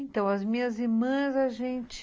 Então, as minhas irmãs, a gente...